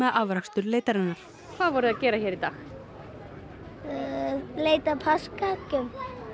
afrakstur leitarinnar hvað voru þið að gera hér í dag leita að páskaeggjum